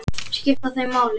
Skipta þau máli?